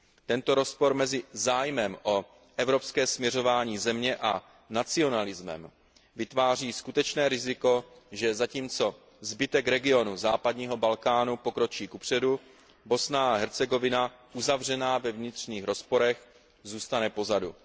Tento rozpor mezi zájmem o evropské směřování země a nacionalismem vytváří skutečné riziko, že zatímco zbytek regionu západního Balkánu pokročí kupředu, Bosna a Hercegovina uzavřená ve vnitřních rozporech zůstane pozadu.